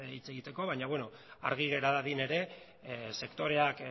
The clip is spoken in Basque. hitz egiteko baina beno argi gera dadin ere sektoreak